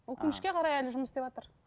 өкінішке қарай әлі жұмыс істеватыр